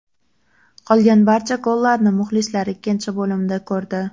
Qolgan barcha gollarni muxlislar ikkinchi bo‘limda ko‘rdi.